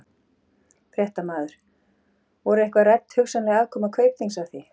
Fréttamaður: Voru eitthvað rædd hugsanleg aðkoma Kaupþings að því?